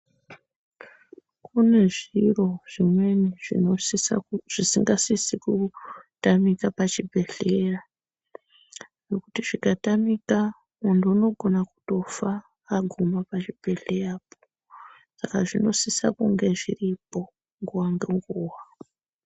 Kune zviro zvimweni zvisingasisi kutamika pazvibhedhlera ngekuti zvikatamika muntu unogona kutofa aguma pachibhedhlera saka zvinosisa kunga zviripo nguwa ngenguwa.